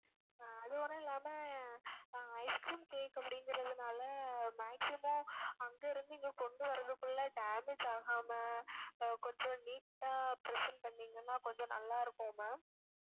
அதுவர இல்லாம ஆஹ் ice cream cake அப்படிங்குறதுனால maximum அங்க இருந்து இங்க கொண்டு வரதுக்குள்ள damage ஆகாம கொஞ்சம் neat ஆ present பண்ணீங்கன்னா கொஞ்சம் நல்லா இருக்கும் ma'am